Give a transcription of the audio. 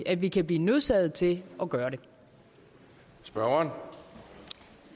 at vi kan blive nødsaget til at gøre gøre